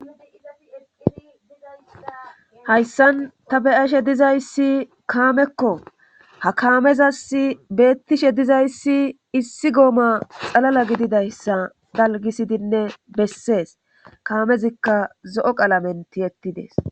Hayssan ta beyashe dizayssi kaamekko ha kaamezas beettishe dizayssi issi gooma xalala gididayssa dalgisidinne bessees kaamezikka zo7o qalamen tiyettidees